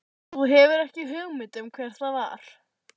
Og þú hefur ekki hugmynd um hver það var?